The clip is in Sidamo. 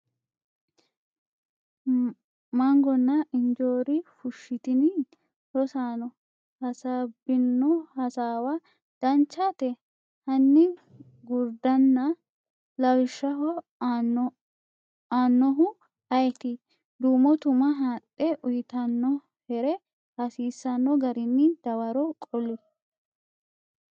mangona injoori fushshitini? Rosaano hasaabbino hasaawa Danchate, hanni gurdana? lawishshaho aannoehu ayeeti? duumo tuma haadhe uytannohere hasiisanno garinni dawaro qoli?